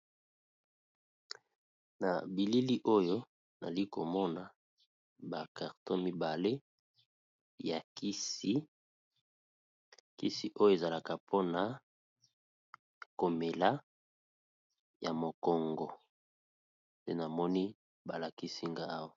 Na bilili oyo nali komona bacarton mibale ya kisi kisi oyo ezalaka mpona komela ya mokongo te namoni balakisi nga awa.